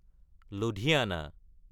Ludhiana